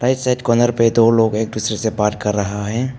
Right side corner पे दो लोग एक दूसरे से बात कर रहा है।